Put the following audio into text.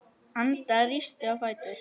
Anda, rístu á fætur.